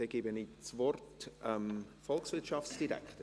Dann gebe ich das Wort dem Volkswirtschaftsdirektor.